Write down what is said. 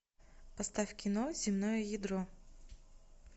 поставь кино земное ядро